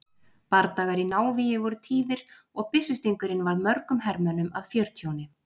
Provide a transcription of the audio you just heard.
Bardagar í návígi voru tíðir og byssustingurinn varð mörgum hermönnum að fjörtjóni.